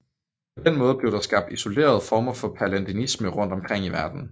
På den måde blev der skabt isolerede former for palladianisme rundt omkring i verden